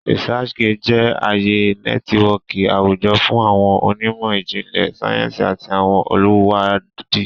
ResearchGate jẹ aaye nẹtiwọọki awujọ fun awọn onimo ijinlẹ sayensi ati awọn oluwadi.